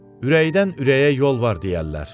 Ürəkdən ürəyə yol var deyərlər.